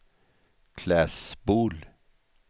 Klässbol